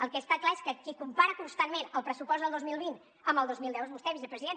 el que està clar és que qui compara constantment el pressupost del dos mil vint amb el dos mil deu és vostè vicepresident